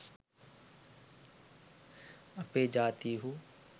අපේ ජාතීහු